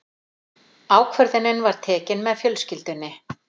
Ákvörðunin var tekin með fjölskyldunni.